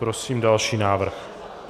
Prosím další návrh.